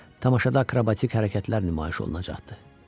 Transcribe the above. Tamaşada akrobatik hərəkətlər nümayiş olunacaqdı.